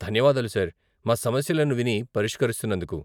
ధన్యవాదాలు సార్, మా సమస్యలను విని పరిష్కరిస్తున్నందుకు.